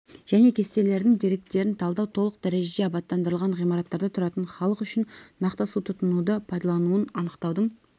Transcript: және кестелердің деректерін талдау толық дәрежеде абаттандырылған ғимараттарда тұратын халық үшін нақты су тұтынуды пайдалануын анықтаудың